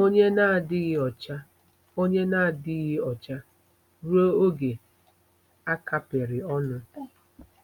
onye na-adịghị ọcha onye na-adịghị ọcha ruo oge a kapịrị ọnụ.